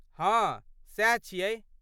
हँ , सैह छियै।